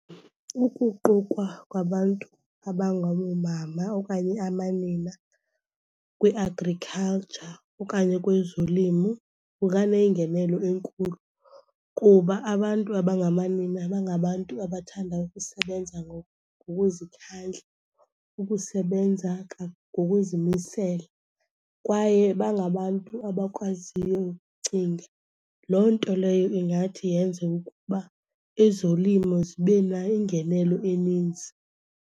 Ukuqukwa kwabantu abangaboomama okanye amanina kwi-agriculture okanye kwezolimo kunganengenelo enkulu. Kuba abantu abangamanina bangabantu abathanda ukusebenza ngokuzikhandla, ukusebenza ngokuzimisela kwaye bangabantu abakwaziyo ukucinga. Loo nto leyo ingathi yenze ukuba ezolimo zibe nayo ingenelo eninzi.